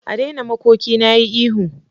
A daina makoki na yi ihu.